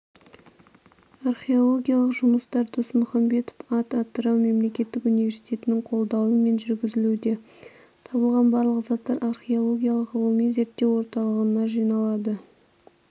археологиялық жұмыстар досмұхамбетов ат атырау мемлекеттік университетінің қолдауымен жүргізілуде табылған барлық заттар археологиялық ғылыми-зерттеу орталығына жиналады